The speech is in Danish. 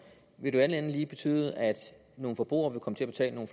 vil det alt andet lige betyde at nogle forbrugere vil komme til at betale nogle